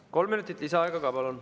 Kolm minutit lisaaega ka, palun.